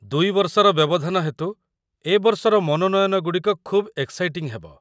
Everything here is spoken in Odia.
୨ ବର୍ଷର ବ୍ୟବଧାନ ହେତୁ ଏ ବର୍ଷର ମନୋନୟନ ଗୁଡ଼ିକ ଖୁବ୍‌ ଏକ୍‌ସାଇଟିଂ ହେବ।